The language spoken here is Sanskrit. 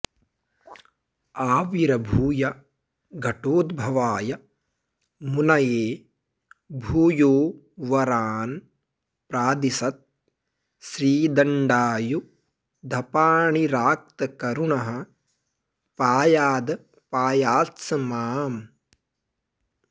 आविर्भूय घटोद्भवाय मुनये भूयो वरान् प्रादिशत् श्रीदण्डायुधपाणिरात्तकरुणः पायादपायात्स माम्